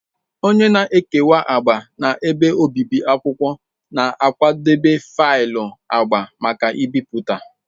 Onye na-ekewa agba na ebe obibi akwụkwọ na-akwadebe faịlụ agba maka ibipụta.